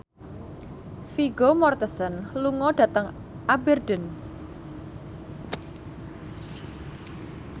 Vigo Mortensen lunga dhateng Aberdeen